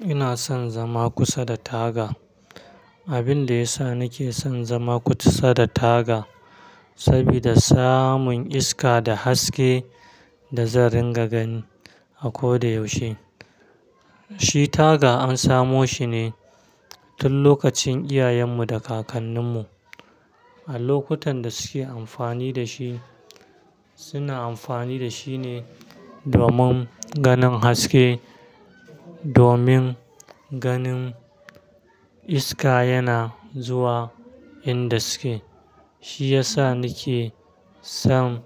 Ina son zama kusa da taga. Abin da ya sa nake son zama kusa da taga sabida samun iska da haske da zan ringa gani a koda yaushe. Shi taga an samo shi ne tun lokacin iyayenmu da kakanninmu. A lokutan da suke amfani da shi, suna amfani da shi ne domin ganin haske, domin ganin iska yana zuwa inda suke. Shi ya sa nake son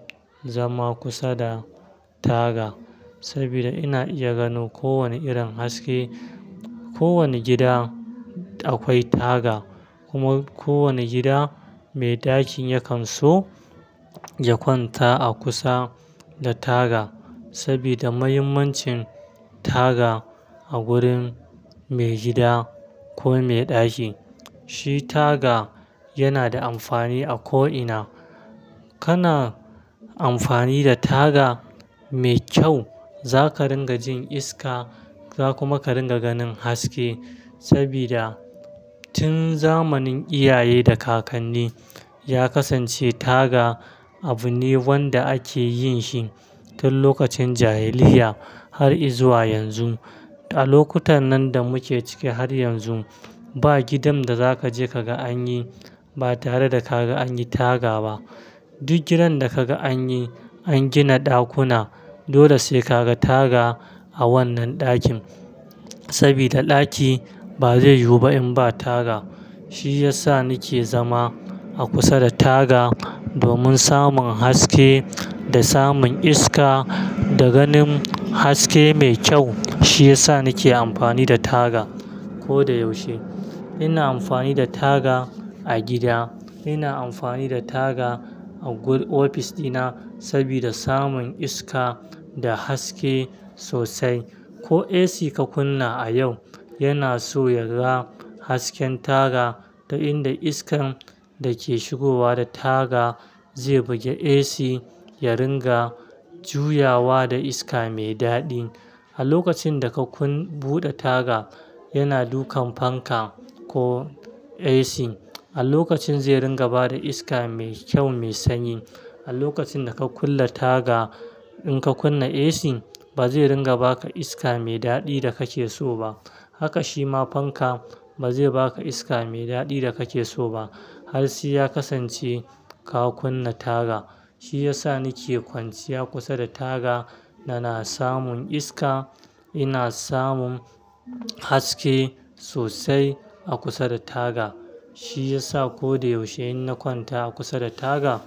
zama kusa da taga sabida ina iya gano kowane irin haske. Ko wane gida akwai taga kuma ko wane gida mai ɗakin yakan so ya kwanta a kusa da taga sabida muhimmancin taga a gurin mai gida ko mai ɗaki. Shi taga yana da amfani a ko ina. Kana amfani da taga mai kyau, zaka ringa jin iska, za kuma ka ringa ganin haske sabida tun zamanin iyaye da kakanni ya kasance taga abu ne wanda ake yin shi tun lokacin jahiliyya har izuwa yanzu. A lokutan nan da muke cike har yanzu, ba gidan da zaka je ka ga an yi ba tare da kaga an yi taga ba. Duk gidan da kaga an yi, an gina ɗakuna, dole sai kaga taga a wannan ɗakin sabida ɗaki ba zai yiwu ba in ba taga. Shi ya sa nake zama a kusa da taga domin samun haske da samun iska da ganin haske mai kyau. Shi ya sa nake amfani da taga koda yaushe. Ina amfani da taga a gida. Ina amfani da taga a ofis ɗina sabida samun iska da haske sosai. Ko AC ka kunna a yau, yana so yaga hasken taga, inda iskan da ke shigowa da taga zai bugi AC, ya ringa juyawa da iska mai daɗi. A lokacin da ka buɗe taga, yana dukan fanka ko AC a lokacin zai ringa ba da iska mai kyau, mai sanyi. A lokacin da ka kulle taga, in ka kunna AC, ba zai ringa baka iska mai daɗi da kake so ba. Haka shi ma fanka ba zai baka iska mai daɗi da kake so ba har sai ya kasance ka kunna taga. Shi ya sa nake kwanciya kusa da taga, nana samun iska. Ina samun haske sosai a kusa da taga. Shi ya sa ko da yaushe inna kwanta a kusa da taga.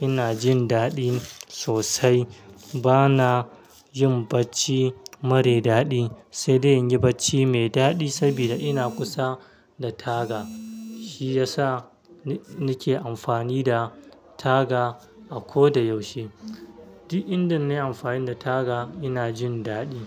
Ina jin daɗi sosai. Bana jin bacci mara daɗi, sai dai in yi bacci mai daɗi sabida ina kusa da taga. Shi ya sa nake amfani da taga a ko da yaushe. Duk inda na yi amfani da taga, ina jin daɗi.